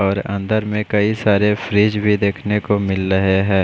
और अंदर में कई सारे फ्रिज भी देखने को मिल रहे है।